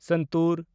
Santur